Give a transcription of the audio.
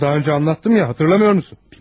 Ay, daha əvvəl danışmışdım axı, xatırlamırsan?